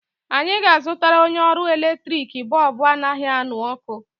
Anyị ga-azụtara onye ọrụ eletrik bọọbụ anaghị aṅụ ọkụ.